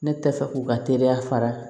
Ne tɛ fɛ k'u ka teriya fara